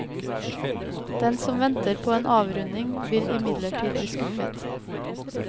Den som venter på en avrunding, vil imidlertid bli skuffet.